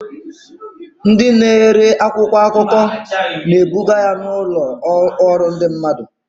Ndị na-ere akwụkwọ akụkọ na-ebuga ya n'ụlọ ọrụ ndị mmadụ.